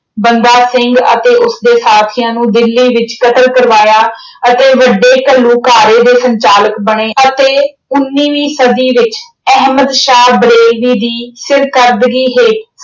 ਬੰਦਾ ਸਿੰਘ ਅਤੇ ਉਸਦੇ ਸਾਥਿਆਂ ਨੂੰ ਦਿੱਲੀ ਵਿੱਚ ਕਤਲ ਕਰਵਾਇਆ ਅਤੇ ਵੱਡੇ ਘੱਲੂਘਾਰੇ ਦੇ ਸੰਚਾਲਕ ਬਣੇ ਅਤੇ ਉਨੀਵੀਂ ਸਦੀ ਵਿੱਚ ਅਹਿਮਦ ਸ਼ਾਹ ਬਰੇਲਵੀ ਦੀ ਸਿਰਕੱਢਵੀ ਹੇਠ